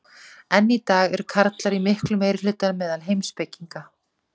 enn í dag eru karlar í miklum meirihluta meðal heimspekinga